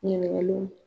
Ɲininkaliw